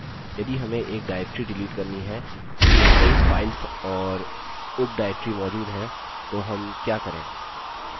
यदि हमें एक directory डिलीट करनी है जिसमें कई files और उप directory मौजूद है तो हम क्या करें